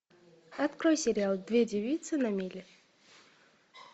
открой сериал две девицы на мели